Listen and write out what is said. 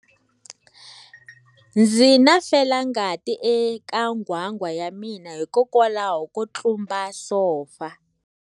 Ndzi na felangati eka nghwanghwa ya mina hikwalaho ko tlumba sofa.